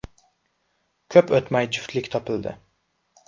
Ko‘p o‘tmay, juftlik topildi.